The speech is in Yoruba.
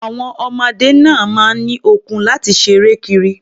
Àwon ọmọdé náà máa ń ní okun láti ṣeré kiri.